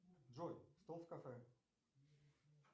джой стол в кафе